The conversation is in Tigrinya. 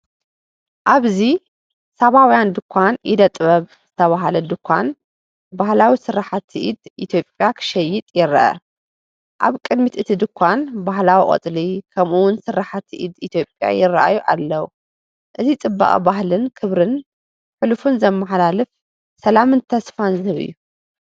ኣብዚ “ሳባውያን ድኳን ኢደ ጥበብ” ዝተባህለ ድኳን ባህላዊ ስርሓት ኢድ ኢትዮጵያ ክሸይጥ ይርአ። ኣብ ቅድሚ እቲ ድኳን፡ ባህላዊ ቆጽሊ፡ ከምኡ’ውን ስርሓት ኢድ ኢትዮጵያ ይራኣዩ ኣለዉ። እዚ ጽባቐ ባህልን ክብሪ ሕሉፍን ዘመሓላልፍ፡ ሰላምን ተስፋን ዝህብ እዩ።